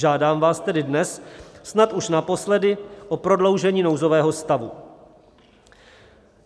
Žádám vás tedy dnes, snad už naposledy, o prodloužení nouzového stavu.